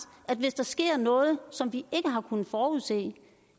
at hvis der sker noget som vi ikke har kunnet forudse